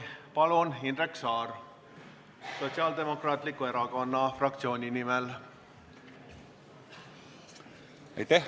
Palun, Indrek Saar, Sotsiaaldemokraatliku Erakonna fraktsiooni nimel!